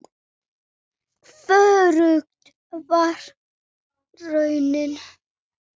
Hvorugt var raunin.